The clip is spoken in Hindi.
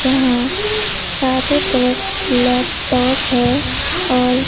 जहां चारों तरफ लैपटॉप है और--